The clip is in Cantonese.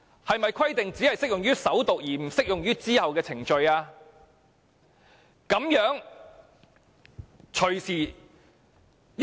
是否規定只適用於首讀而不適用於其後的程序？